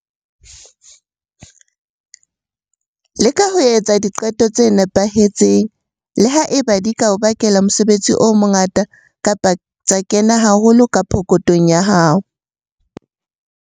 Leka ho etsa diqeto tse nepahetseng, le ha eba di ka o bakela mosebetsi o mongata kapa tsa kena haholo ka pokothong ya hao.